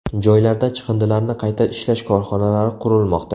Joylarda chiqindilarni qayta ishlash korxonalari qurilmoqda.